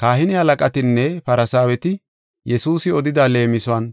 Kahine halaqatinne Farsaaweti Yesuusi odida leemisuwan